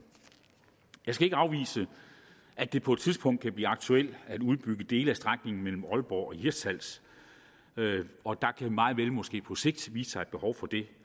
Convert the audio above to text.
jeg skal ikke afvise at det på et tidspunkt kan blive aktuelt at udbygge dele af strækningen mellem aalborg og hirtshals og der kan meget vel måske på sigt vise sig et behov for det